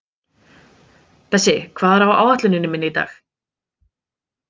Bessi, hvað er á áætluninni minni í dag?